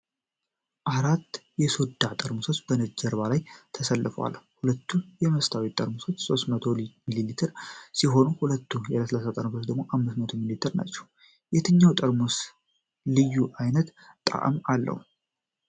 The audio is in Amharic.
አራት የሶዳ ጠርሙሶች በነጭ ጀርባ ላይ ተሰልፈዋል። ሁለቱ የመስታወት ጠርሙሶች 300 ሚሊ ሊትር ሲሆኑ ሁለቱ የፕላስቲክ ጠርሙሶች 500 ሚሊ ሊትር ናቸው። የትኛው ጠርሙስ ልዩ ዓይነት ጣዕም አለው?